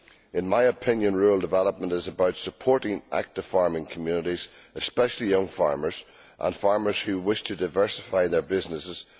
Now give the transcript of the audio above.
In my opinion, rural development is about supporting active farming communities, especially young farmers and farmers who wish to diversify their businesses.